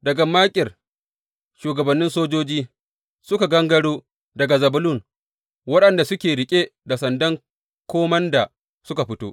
Daga Makir, shugabannin sojoji suka gangaro, daga Zebulun waɗanda suke riƙe da sandan komanda suka fito.